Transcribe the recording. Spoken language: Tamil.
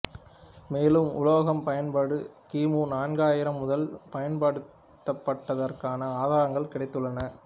மேலும் உலோக பயன்பாடு கி மு நான்காயிரம் முதல் பயன்படுத்தப்பட்டதற்கான ஆதாரங்கள் கிடைத்துள்ளன